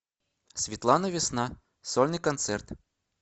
светлана весна сольный концерт